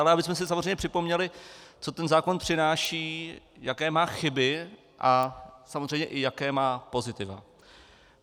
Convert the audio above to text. Ale abychom si samozřejmě připomněli, co ten zákon přináší, jaké má chyby a samozřejmě i jaká má pozitiva.